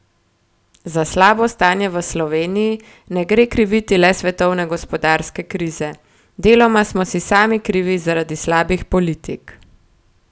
Za slabo stanje v Sloveniji ne gre kriviti le svetovne gospodarske krize: "Deloma smo si sami krivi zaradi slabih politik.